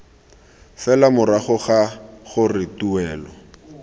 fela morago ga gore tuelo